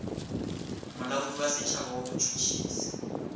molaodi wa setšhaba wa botšhotšhisi